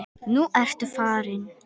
Nú ertu farinn.